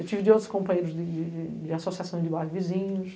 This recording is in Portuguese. Eu tive de outros companheiros de de de de associações de bairros vizinhos.